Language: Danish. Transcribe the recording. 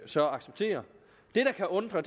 så acceptere det der kan undre